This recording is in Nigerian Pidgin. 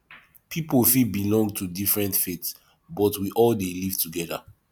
pipo fit belong to different faiths but we all dey live together